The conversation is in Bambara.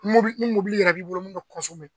Ni i yɛrɛ b'i bolo min bɛ .